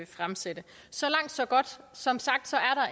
fremsatte så langt så godt som sagt